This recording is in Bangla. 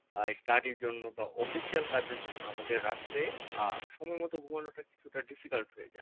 আহ এই study র জন্য বা official কাজ এর জন্য আমাদের রাত্রে আহ সময় মতো ঘুমোনো টা কিছুটা difficult হয়ে যায়